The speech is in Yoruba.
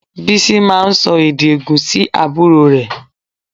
Bísí máa ń sọ èdè ègùn sí àbúrò rẹ̀